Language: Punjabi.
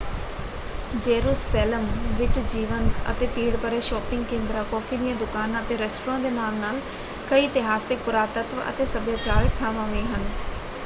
ਜੇਰੂਸੇਲਮ ਵਿੱਚ ਜੀਵੰਤ ਅਤੇ ਭੀੜ-ਭਰੇ ਸ਼ਾਪਿੰਗ ਕੇਂਦਰਾਂ ਕੌਫ਼ੀ ਦੀਆਂ ਦੁਕਾਨਾਂ ਅਤੇ ਰੈਸਟਰਾਂ ਦੇ ਨਾਲ-ਨਾਲ ਕਈ ਇਤਿਹਾਸਕ ਪੁਰਾਤੱਤਵ ਅਤੇ ਸੱਭਿਆਚਾਰਕ ਥਾਵਾਂ ਵੀ ਹਨ।